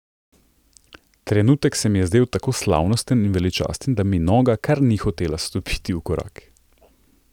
Trenutek se mi je zdel tako slavnosten in veličasten, da mi noga kar ni hotela stopiti v korak.